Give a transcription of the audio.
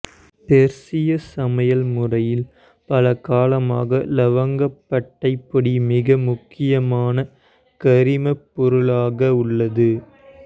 பெர்சிய சமையல் முறையில் பல காலமாக இலவங்கப்பட்டை பொடி மிக முக்கியமான கறிமப் பொருளாக உள்ளது